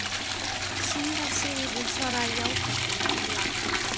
Síra Sigurður svaraði játandi, en lágt.